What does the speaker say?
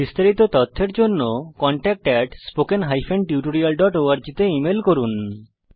বিস্তারিত তথ্যের জন্য contactspoken tutorialorg তে ইমেল করুন